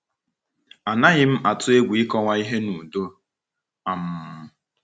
Anaghị m atụ egwu ịkọwa ihe n’udo.. um